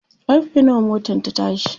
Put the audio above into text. karfe nawa motan ta tashi?